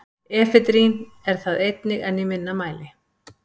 efedrín er það einnig en í minna mæli